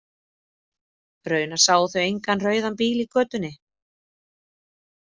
Raunar sáu þau engan rauðan bíl í götunni.